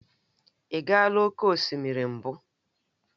Ị gaala oke osimiri mbụ?